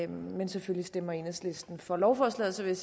men selvfølgelig stemmer enhedslisten for lovforslaget så vil